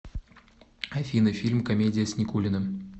афина фильм комедия с никулиным